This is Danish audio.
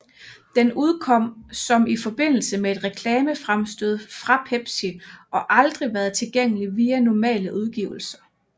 Den udkom som i forbindelse med et reklamefremstød fra Pepsi og aldrig været tilgængelig via normale udgivelser